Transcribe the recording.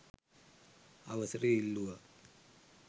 අවසරය ඉල්ලූවා.